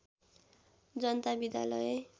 जनता विद्यालय